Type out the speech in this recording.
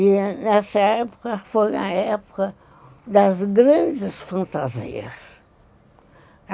E nessa época foi a época das grandes fantasias.